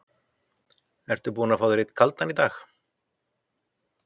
Ertu búinn að fá þér einn kaldan í dag?